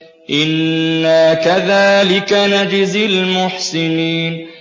إِنَّا كَذَٰلِكَ نَجْزِي الْمُحْسِنِينَ